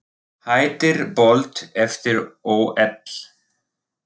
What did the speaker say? Hættir Bolt eftir ÓL